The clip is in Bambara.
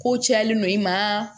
Ko cayalen don i ma